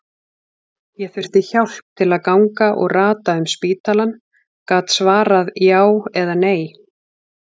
Ég þurfti hjálp til að ganga og rata um spítalann, gat svarað já eða nei.